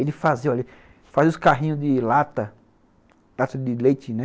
Ele fazia olhe, os carrinhos de lata, lata de leite, né?